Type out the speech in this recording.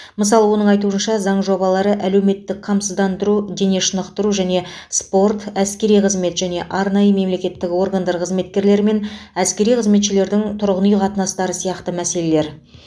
мысалы оның айтуынша заң жобалары әлеуметтік қамсыздандыру дене шынықтыру және спорт әскери қызмет және арнайы мемлекеттік органдар қызметкерлері мен әскери қызметшілердің тұрғын үй қатынастары сияқты мәселелер